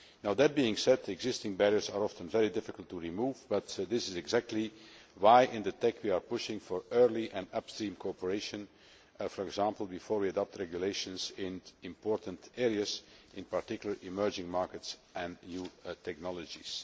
That said, existing barriers are often very difficult to remove but this is precisely why, in the TEC, we are pushing for early and upstream cooperation, for example, before we adopt regulations in important areas, in particular, emerging markets and new technologies.